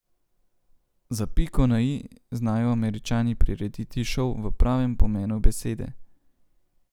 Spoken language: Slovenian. Za piko na i znajo Američani prirediti šov v pravem pomenu besede.